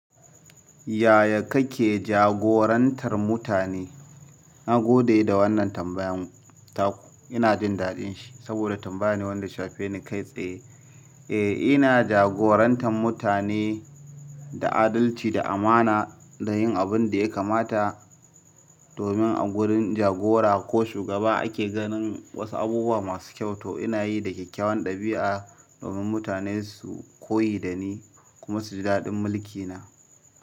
Yaya kake jagorantar mutane? Na gode da wannan tambayan ta ku. Ina jin daɗin shi saboda tambaya ne wanda shafe ni kai tsaye. Eh, ina jagorantar mutane da adalci, da amana da yin abin da ya kamata domin a gurin jagora ko shugaba ake ganin wasu abubuwa masu kyau, to ina yi da kyakkyawan ɗabi'a domin mutane su koyi da ni kuma su ji daɗin mulki na.